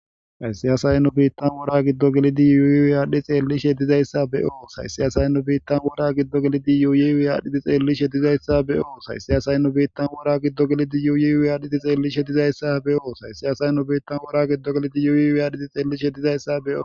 Hayssiyasay nu biittan wora giddo gelidi yuuyi wiyaadhi xeelli she dizayssa be7oo hayssiyasay nu biittan wora giddo gelidi yuuyi wiyaadhiti xeelli shedizayssa be7o hayssiyasay nu biittan wora giddo gelidi yuuyi wiyaadhiti xeelli shedizayssa be7oo hayssiyasay nu biittan wora giddo gelidi yuuyi wiyaadhiti xeelli shedizayssa beoo